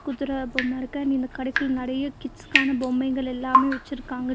குதிர பொம்ம இருக்கு அண்ட் இந்த கடைக்குள்ள நெறைய கிட்ஸுக்கான பொம்மைங்ககள் எல்லாமே வச்சிருக்காங்கனு--